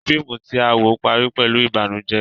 Fíìmù tí à ń wò parí pẹ̀lú ìbànújẹ́.